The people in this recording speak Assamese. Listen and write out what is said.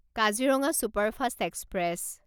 Kaziranga superfast express